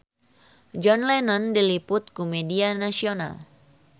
John Lennon diliput ku media nasional